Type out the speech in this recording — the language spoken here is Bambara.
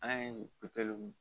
An ye nin